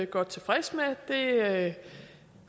godt tilfreds med